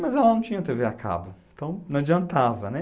Mas ela não tinha tê vê a cabo, então não adiantava, né?